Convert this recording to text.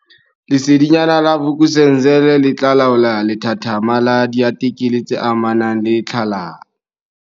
Lesedinyana la Vuk'uzenzele le tla laola lethathama la diatikele tse amanang le tlhalano.